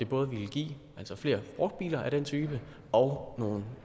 både ville give flere brugte biler af den type og nogle